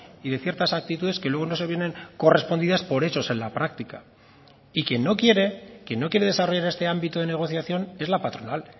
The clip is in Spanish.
y de ciertas actitudes que luego no se vienen correspondidas por hechos en la práctica y quien no quiere quien no quiere desarrollar este ámbito de negociación es la patronal